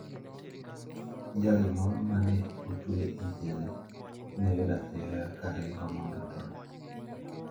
Jal moro ma ne otwe e jela ne oyud athiaya ka ringo mondo otony.